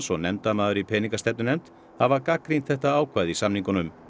og nefndarmaður í peningastefnunefnd hafa gagnrýnt þetta ákvæði í samningunum